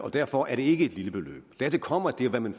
derfor er det ikke et lille beløb dertil kommer at det er hvad man